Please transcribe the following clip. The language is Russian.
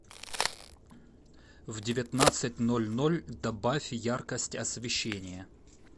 в девятнадцать ноль ноль добавь яркость освещения